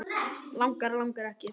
Langar, langar ekki.